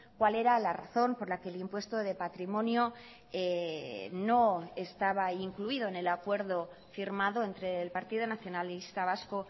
cuál era la razón por la que el impuesto de patrimonio no estaba incluido en el acuerdo firmado entre el partido nacionalista vasco